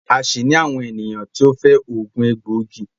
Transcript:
a tun ní àwọn ènìyàn tí o fẹ oogun egboigi